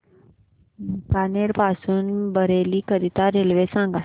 बीकानेर पासून बरेली करीता रेल्वे सांगा